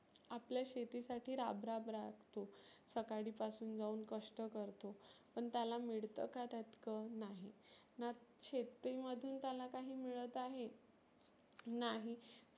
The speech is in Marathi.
आपल्या शेतीसाठी राब राब राबतो. सकाळी पासुन जाऊन कष्ठ करतो, पण त्याला मिळतं का तीतकं नाही. ना शेती मधुन त्याला काही मिळत आहे नाही